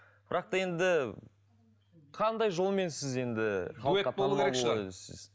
бірақ та енді қандай жолмен сіз енді